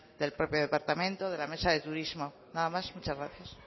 del propio departamento de la mesa de turismo nada más muchas gracias